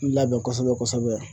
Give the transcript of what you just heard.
Labɛn kosɛbɛ kosɛbɛ